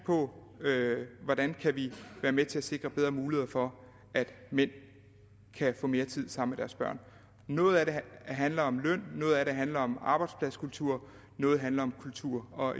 på hvordan vi kan være med til at sikre bedre muligheder for at mænd kan få mere tid sammen med deres børn noget af det handler om løn noget af det handler om arbejdspladskultur noget handler om kultur og